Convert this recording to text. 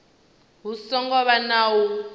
hu songo vha na u